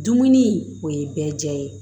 Dumuni o ye bɛɛ diya ye